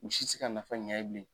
U si ti s ka nafa ɲ'a ye bilen.